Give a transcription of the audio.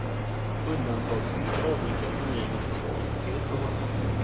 Undantagsvis avvisas regeringens förslag helt och hållet.